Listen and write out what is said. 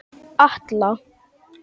Atla